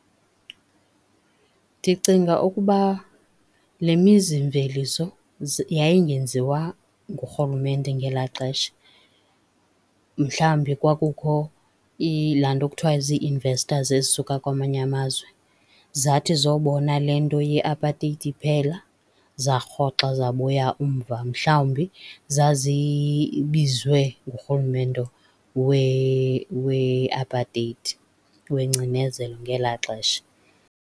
Ndicinga ukuba le mizimveliso yayingenziwa ngurhulumente ngelaa xesha. Mhlawumbi kwakukho laa nto kuthwa zii-investors ezisuka kwamanye amazwe, zathi zobona le nto yeapateyiti iphela, zarhoxa zabuya umva. Mhlawumbi zazibizwe ngurhulumente we-apateyiti, wengcinezelo ngelaa xesha.